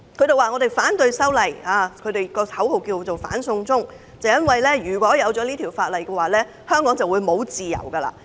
他們反對修例，他們的口號是"反送中"，因為修例通過以後，香港便沒有自由。